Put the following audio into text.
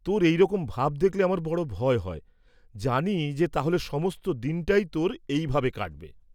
তোর এই রকম ভাব দেখলে আমার বড় ভয় হয়, জানি যে তাহলে সমস্ত দিনটাই তোর এইভাবে কাটবে।